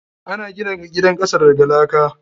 Ana gina gidan kasa daga laka.